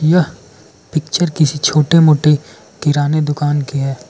यह पिक्चर किसी छोटे मोटे किराने दुकान की है।